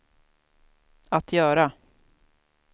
att göra